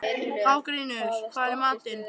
Hafgrímur, hvað er í matinn?